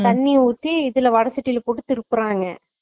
தண்ணி ஊத்தி இதுல வடச்சட்டில போட்டு திருப்புறாங்க